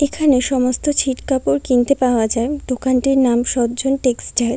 এখানে সমস্ত ছিট কাপড় কিনতে পাওয়া যায় দোকানটির নাম সজ্জন টেক্সটাইল ।